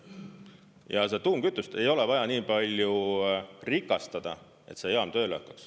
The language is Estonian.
Ja seda tuumkütust ei ole vaja nii palju rikastada, et see jaam tööle hakkaks.